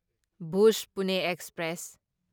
ꯚꯨꯖ ꯄꯨꯅꯦ ꯑꯦꯛꯁꯄ꯭ꯔꯦꯁ